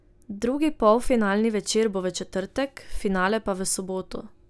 Drugi polfinalni večer bo v četrtek, finale pa v soboto.